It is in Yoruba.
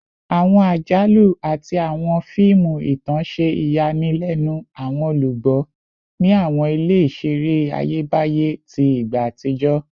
Awọn ajalu ati awọn fiimu itan ṣe iyanilenu awọn olugbo ni awọn ile-iṣere Ayebaye ti igba atijọ